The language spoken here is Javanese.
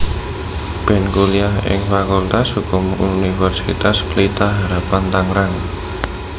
Ben kuliah ing Fakultas Hukum Universitas Pelita Harapan Tangerang